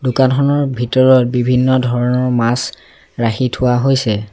দোকানখনৰ ভিতৰত বিভিন্ন ধৰণৰ মাছ ৰাখি থোৱা হৈছে।